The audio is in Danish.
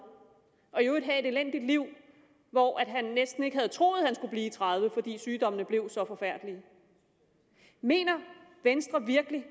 og i øvrigt har et elendigt liv hvor han næsten ikke havde troet at han skulle blive tredive fordi sygdommene blev så forfærdelige mener venstre virkelig